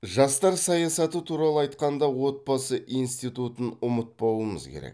жастар саясаты туралы айтқанда отбасы институтын ұмытпауымыз керек